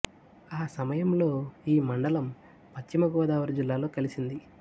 ఆ సమయంలో ఈ మండలం పశ్చిమ గోదావరి జిల్లాలో కలిసింది